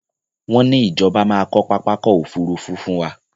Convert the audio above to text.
Wọn ní Ìjọba máa kọ pápákọ̀ Òfurufú fún wá